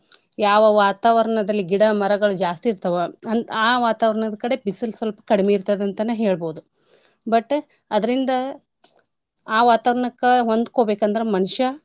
ಯಾವ ವಾತಾವರ್ಣದಲ್ಲಿ ಗಿಡಾ ಮರಗಳು ಜಾಸ್ತಿ ಇರ್ತಾವೋ ಹಂ~ ಆ ವಾತಾವರ್ಣದ್ ಕಡೆ ಬಿಸಲ್ ಸಲ್ಪ ಕಡ್ಮಿ ಇರ್ತದಂತನ ಹೇಳ್ಬೋದು. But ಅದ್ರಿಂದ ಆ ವಾತಾವರ್ಣಕ್ಕ ಹೊಂದ್ಕೋಬೇಕಂದ್ರ ಮನಷ.